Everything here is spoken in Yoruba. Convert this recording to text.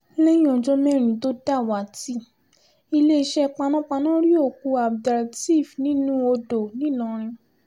lẹ́yìn ọjọ́ mẹ́rin tó dàwátì iléeṣẹ́ panápaná rí òkú abdelteef nínú odò ńìlọrin